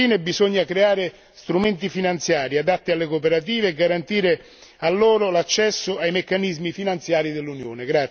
Infine, bisogna creare strumenti finanziari adatti alle cooperative e garantire loro l'accesso ai meccanismi finanziari dell'Unione.